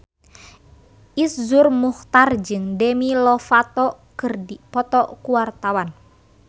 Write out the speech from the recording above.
Iszur Muchtar jeung Demi Lovato keur dipoto ku wartawan